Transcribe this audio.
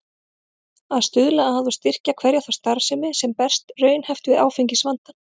Að stuðla að og styrkja hverja þá starfsemi, sem berst raunhæft við áfengisvandann.